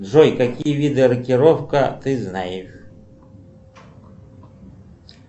джой какие виды рокировка ты знаешь